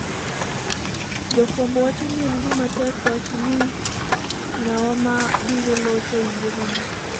Jofwambo wacho ni en gima tek wacho ni ng’awa ma biro locho e yiero no.